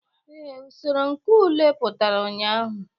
Ee, usoro nke ule pụtara ụnyahụ.